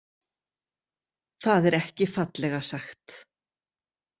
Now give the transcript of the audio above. Það er ekki fallega sagt.